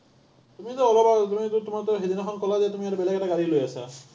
তুমিটো অলপ আগত, তুমিটো, তোমাৰটো সেইদিনাখন ক’লা যে তুমি আৰু বেলেগ এটা গাড়ী লৈ আছা।